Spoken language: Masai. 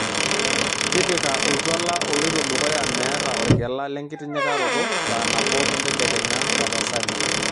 tipika oltuala oloitodukuya meeta orgela lenkitinyikaroto saa nabo entedekenya tapasali